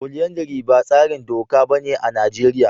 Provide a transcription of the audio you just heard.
Folyandary ba tsarin doka bane a Najeriya.